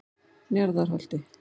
Njarðarholti